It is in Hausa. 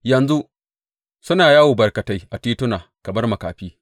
Yanzu suna yawo barkatai a tituna kamar makafi.